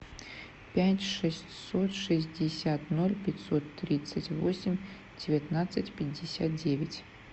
пять шестьсот шестьдесят ноль пятьсот тридцать восемь девятнадцать пятьдесят девять